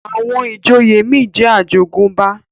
àwọn ìjòyè mí jẹ ajogunba